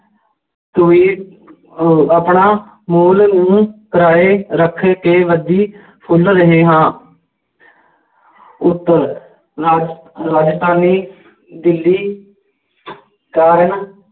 ਕੋਈ ਅਹ ਆਪਣਾ ਮੁੱਲ ਨੂੰ ਕਿਰਾਏ ਰੱਖਕੇ ਵਧੀ ਫੁੱਲ ਰਹੇ ਹਾਂ ਉੱਤਰ ਰਾਜ~ ਰਾਜਸਥਾਨੀ ਦਿੱਲੀ ਕਾਰਨ